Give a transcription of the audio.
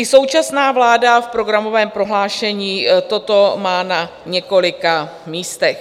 I současná vláda v programovém prohlášení toto má na několika místech.